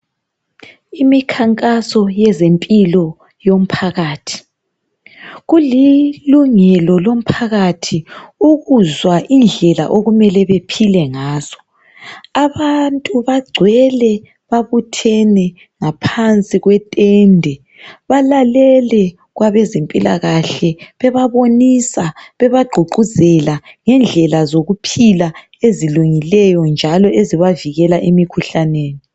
Imikhankaso yezempilo yomphakathi. Kulilungelo lomphakathi ukuzwa indlela okumele bephile ngazo. Abantu bagcwele babuthene ngaphansi kwetende, balalele kwabezempilakahle bebabonisa bebagqugquzela ngendlela zokuphila ezilungileyo njalo ezibavikela emikhuhlaneni.